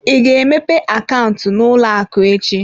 Ị ga-emepe akaụntụ n'ụlọ akụ echi?